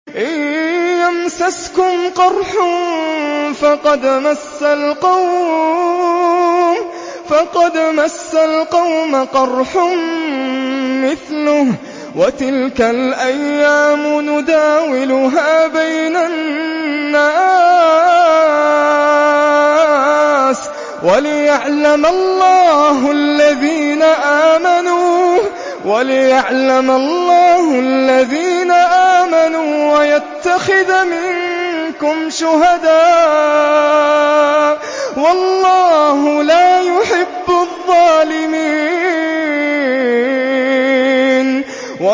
إِن يَمْسَسْكُمْ قَرْحٌ فَقَدْ مَسَّ الْقَوْمَ قَرْحٌ مِّثْلُهُ ۚ وَتِلْكَ الْأَيَّامُ نُدَاوِلُهَا بَيْنَ النَّاسِ وَلِيَعْلَمَ اللَّهُ الَّذِينَ آمَنُوا وَيَتَّخِذَ مِنكُمْ شُهَدَاءَ ۗ وَاللَّهُ لَا يُحِبُّ الظَّالِمِينَ